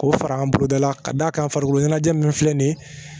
K'o fara an boloda la ka d'a kan farikolo ɲɛnajɛ ninnu filɛ nin ye